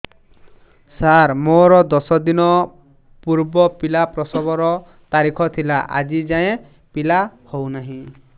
ସାର ମୋର ଦଶ ଦିନ ପୂର୍ବ ପିଲା ପ୍ରସଵ ର ତାରିଖ ଥିଲା ଆଜି ଯାଇଁ ପିଲା ହଉ ନାହିଁ